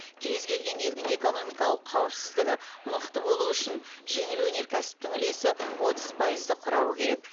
кез келген елдің экономикалық қауіпсіздігі мықты болу үшін жеңіл өнеркәсіптің үлесі отыз пайызды құрауы керек